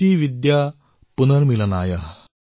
ইতিবিদা পুনৰ্মিলনায়